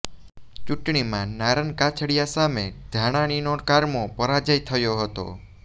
ચૂંટણીમાં નારણ કાછડિયા સામે ધાનાણીનો કારમો પરાજય થયો હતો